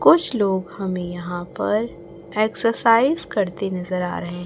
कुछ लोग हमें यहां पर एक्सरसाइज करते नजर आ रहे--